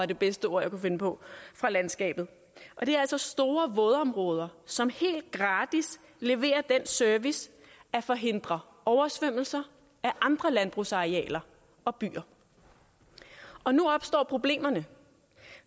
det bedste ord jeg kan finde på fra landskabet og det er altså store vådområder som helt gratis leverer den service at forhindre oversvømmelser af andre landbrugsarealer og byer og nu opstår problemerne